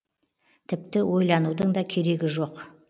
тіпті ойланудың да керегі жоқ